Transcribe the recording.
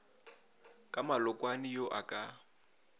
ka malokwane yo a ka